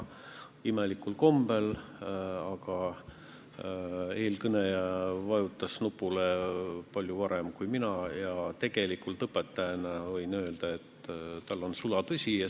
Imelikul kombel, eelkõneleja vajutas nupule palju varem kui mina ja ma võin õpetajana öelda, et ta rääkis sulatõtt.